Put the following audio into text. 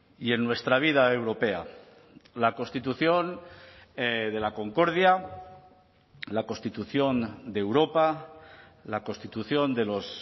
y en nuestra vida europea la constitución de la concordia la constitución de europa la constitución de los